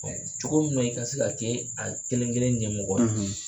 Cogo min na i ka se ka kɛ a kelen-kelen ɲɛmɔgɔ